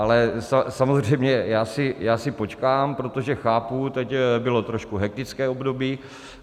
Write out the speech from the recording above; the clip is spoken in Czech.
Ale samozřejmě já si počkám, protože chápu, teď bylo trochu hektické období.